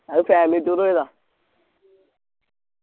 അത് family tour പോയതാ